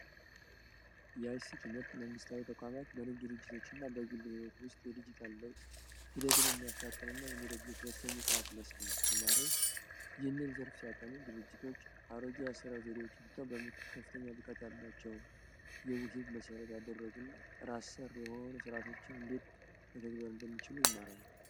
የአይሲቲ ትምህርት መንግስታዊ ተቋማት በንግ ድርጅቶች እና በግል ሕይወት ውስጥ የዲጅታል ለውጥ ሂደትን የሚያፋጥን እና የሚደግፍ ወሳኝ የጥናት መስክ ነው። ተማሪዎች ይህን የትምህርት ዘርፍ ሲያጠኑ ድርጅቶች አሮጊያ ያስራ ዘዴዎች ትተው ከፍተኛ ብቃት ያላቸውን የውህብ መሰረት ያደረጉ እና ራሰር የሆኑ ስርዓቶች እንዴት መተግበር እንደሚችሉ ይማራሉ።